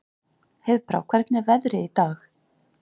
Heiðbrá, hvernig er veðrið í dag?